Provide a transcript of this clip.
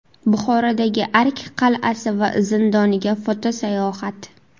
Buxorodagi Ark qal’asi va zindoniga foto-sayohat.